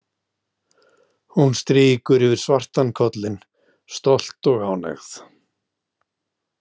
Hún strýkur yfir svartan kollinn, stolt og ánægð.